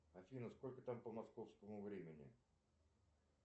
афина сколько там по московскому времени